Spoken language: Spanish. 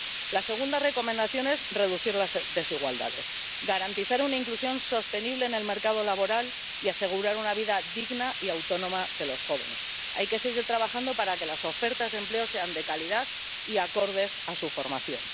La segunda recomendación es reducir las desigualdades, garantizar una inclusión sostenible en el mercado laboral y asegurar una vida digna y autónoma de los jóvenes hay que seguir trabajando para que las ofertas de empleo sean de calidad y acordes a su formación.